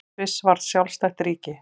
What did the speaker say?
Sviss varð sjálfstætt ríki.